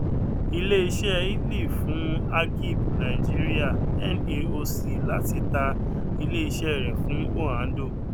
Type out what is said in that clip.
ilé iṣẹ ìtàly fún agip nàìjíríà naoc láti ta ilé iṣẹ rẹ fún oando